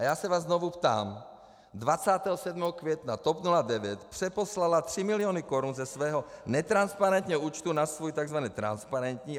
A já se vás znovu ptám: 27. května TOP 09 přeposlala tři miliony korun ze svého netransparentního účtu na svůj tzv. transparentní.